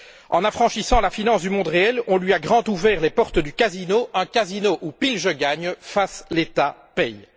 En affranchissant la finance du monde réel, on lui a ouvert toutes grandes les portes du casino, un casino où pile je gagne, face l'État paie!